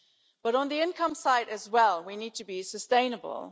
But on the income side we also need to be sustainable.